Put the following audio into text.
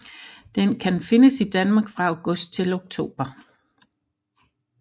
Den kan findes i Danmark fra august til oktober